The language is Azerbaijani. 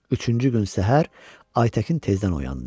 Üçüncü gün səhər Aytəkin təzədən oyandı.